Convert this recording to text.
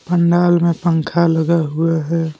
पंडाल में पंखा लगा हुआ है।